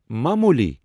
معمولی۔